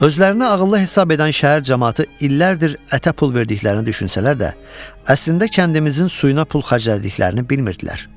Özlərini ağıllı hesab edən şəhər camaatı illərdir ətə pul verdiklərini düşünsələr də, əslində kəndimizin suyuna pul xərclədiklərini bilmirdilər.